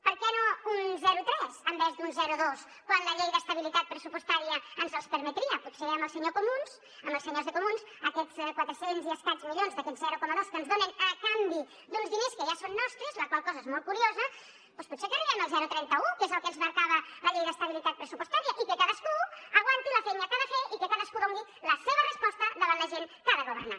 per què no un zero coma tres en lloc d’un zero coma dos quan la llei d’estabilitat pressupostària ens els permetria potser amb els senyors de comuns aquests quatre cents i escaig milions d’aquest zero coma dos que ens donen a canvi d’uns diners que ja són nostres la qual cosa és molt curiosa doncs potser que arribem al zero coma trenta un que és el que ens marcava la llei d’estabilitat pressupostària i que cadascú aguanti la feina que ha de fer i que cadascú doni la seva resposta davant la gent que ha de governar